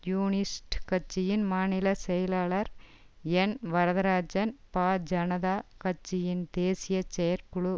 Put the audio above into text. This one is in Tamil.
கம்யூனிஸ்ட் கட்சியின் மாநில செயலாளர் என் வரதராஜன் பா ஜனதா கட்சியின் தேசிய செயற்குழு